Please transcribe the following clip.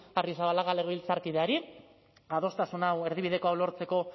arrizabalaga legebiltzarkideari adostasun hau erdibideko hau lortzeko